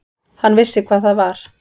Hann vissi hvað það var.